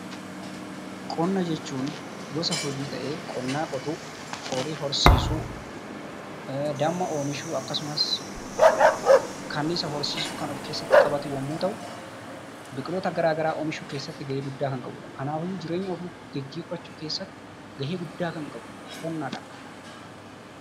Qonna jechuun gosa hojii ta'ee qonnaa qotuu, horii horsiisuu, damma oomishuu akkasumas kanniisa horsiisuu kan of keesatti qabatu yemmuu ta'u, biqiloota garaa garaa oomishuu keessatti gahee guddaa kan qabudha. Kanaafiyyuu jireenya ofii geggeeffachuu keessatti gahee guddaa kan qabudha humna ta'a.